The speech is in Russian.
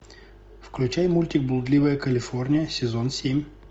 включай мультик блудливая калифорния сезон семь